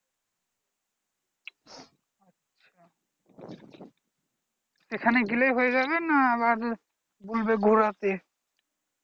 এখানে গেলেই হয়ে যাবে না আরো আবার বলবে ঘোরাতে